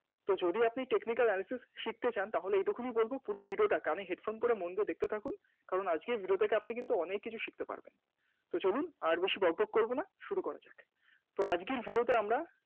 যদি আপনি Technical analytics শিখতে চান তাহলে এইটুকুনি বলবো পুরো Video টা কানে Headphone করে মন দিয়ে দেখতে থাকুন কারণ আজকের Video থেকে আপনি অনেক কিছু শিখতে পারবেন চলুন আর বেশি বকবক করবো না শুরু করা যাক, আজকের Video তে আমরা